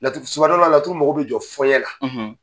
laturu mago bɛ jɔ fɔnɛ la.